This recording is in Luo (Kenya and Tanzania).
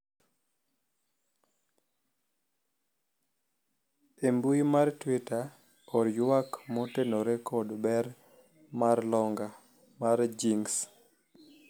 e mbui mar twita or ywak motenore kod ber mar longa mar jings